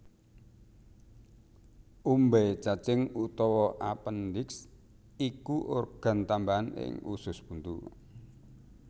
Umbai cacing utawa apendiks iku organ tambahan ing usus buntu